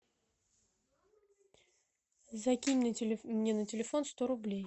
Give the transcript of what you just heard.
закинь мне на телефон сто рублей